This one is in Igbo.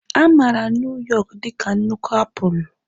A maara Nuu yọk dị ka nnukwu apụl.